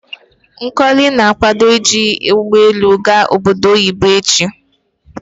Nkole na akwado iji ugbo elu a-ga obodo oyibo echi